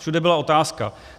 Všude byla otázka.